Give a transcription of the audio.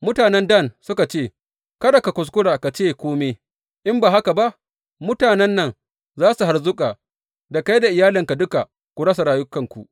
Mutanen Dan suka ce, Kada ka kuskura ka ce kome, in ba haka ba mutanen nan za su harzuƙa, da kai da iyalinka duka ku rasa rayukanku.